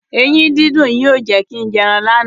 Eyín dídùn yìí ò jẹ́ kin jẹ ẹran lánàá.